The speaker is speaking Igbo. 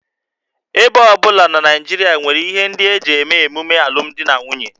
Ebo ọ bụla na Naịjirịa nwere ihe ndị e ji eme emume alụmdi na nwunye